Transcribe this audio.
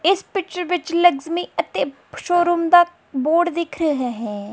ਇਸ ਪਿਚਰ ਵਿੱਚ ਲਗਜਮੀ ਅਤੇ ਸ਼ੋਰੂਮ ਦਾ ਬੋਰਡ ਦਿਖ ਰਿਹਾ ਹੈ।